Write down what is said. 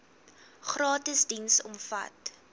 gratis diens omvat